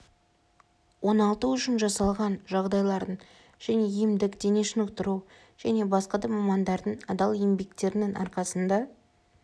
оңалту үшін жасалған жағдайлардың және емдік дене шынықтыру және басқа да мамандардың адал еңбектерінің арқасында